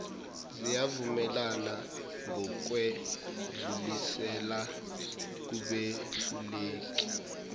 ziyavumelana ngokwedlulisela kubehluleli